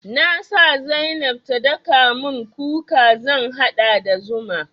Na sa zainab ta daka mun kuka zan haɗa da zuma.